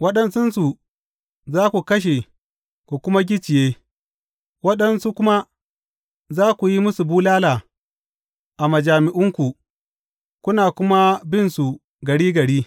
Waɗansunsu za ku kashe ku kuma gicciye; waɗansu kuma za ku yi musu bulala a majami’unku kuna kuma binsu gari gari.